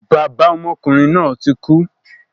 Bàbá ọmọkùnrin náà tí kú